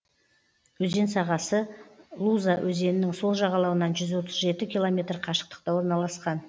өзен сағасы луза өзенінің сол жағалауынан жүз отыз жеті километр қашықтықта орналасқан